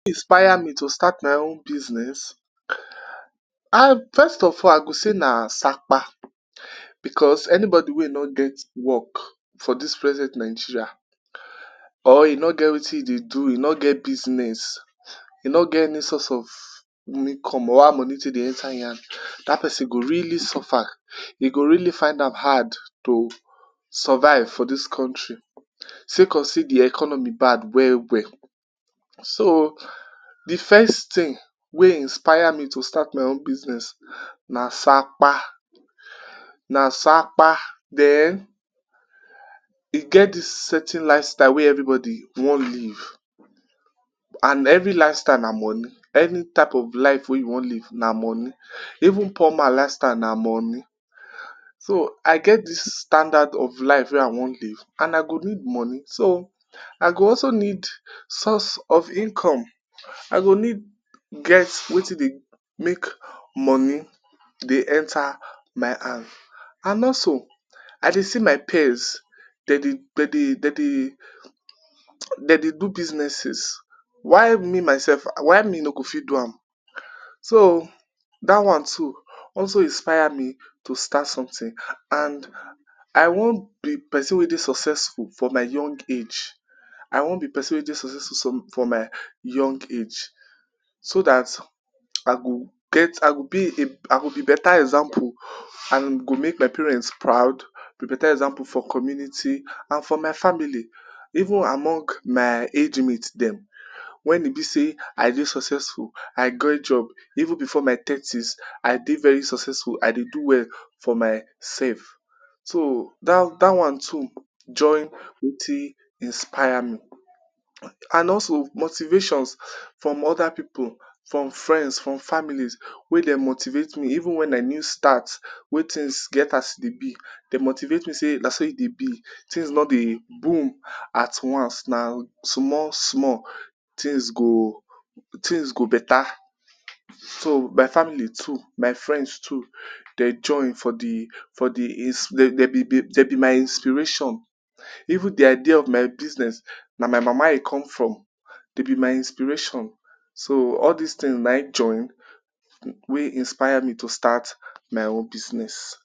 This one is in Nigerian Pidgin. Wetin inspire me to start my own business, I first of all I go say na sapa because anybody wey e no get work for dis present Nigeria or e no get wetin e dey do e no get business e no get any source of income over money wey dey enter im hand, dat go person go really suffer e go really find am hard to survive for dis country. Second see um, de economy bad well well so, de first thing wey inspire me to start my own business na sapa na sapa den e get dis certain lifestyle wey everybody e want live and every lifestyle na money, any type of life wey you want live na money, even poor man lifestyle na money, so I get dis standard of life wey I want live and I go need money. So I go also need source of income. I go need get wetin dey make money dey enter my hand and also, I dey see my peers, dey dey dey dey dey dey dey dey do businesses why me myself why me no go fit do am, so dat one too also inspire me to start something and i want be person wey dey successful for my young age, I want be person wey dey successful for my young age so dat I go get I go be a I go be beta example and e go make my parents proud I go be beta example for community and for my family. Even among my age mate dem when e be sey I dey successful, I get job even before my thirties, I dey very successful, I dey do well, for my self. so dat dat one too join wetin inspire me. And also motivations from oda pipu from friends from families wey dey motivate me even when I new start wey thighs get as e dey be dey motivate me sey na so e dey be, things no dey boom at once na small small things go things go beta. So my family too, my friends too, dey join for de for de dey be dey be my inspiration. Even de idea of my business na my mama e come from, dey be my inspiration so all dis things na in join wey inspire me to start my own business.